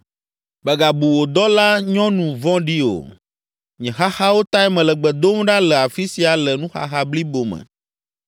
Mègabu wò dɔlanyɔnu vɔ̃ɖi o. Nye xaxawo tae mele gbe dom ɖa le afi sia le nuxaxa blibo me.”